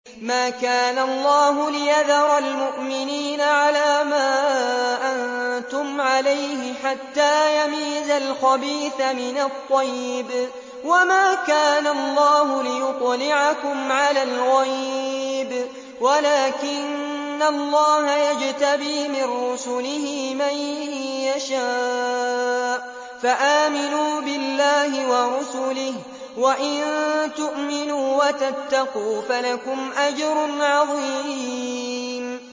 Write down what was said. مَّا كَانَ اللَّهُ لِيَذَرَ الْمُؤْمِنِينَ عَلَىٰ مَا أَنتُمْ عَلَيْهِ حَتَّىٰ يَمِيزَ الْخَبِيثَ مِنَ الطَّيِّبِ ۗ وَمَا كَانَ اللَّهُ لِيُطْلِعَكُمْ عَلَى الْغَيْبِ وَلَٰكِنَّ اللَّهَ يَجْتَبِي مِن رُّسُلِهِ مَن يَشَاءُ ۖ فَآمِنُوا بِاللَّهِ وَرُسُلِهِ ۚ وَإِن تُؤْمِنُوا وَتَتَّقُوا فَلَكُمْ أَجْرٌ عَظِيمٌ